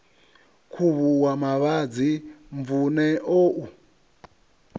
khuvhuwa mavhadzi mvun eo u